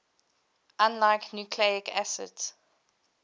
unlike nucleic acids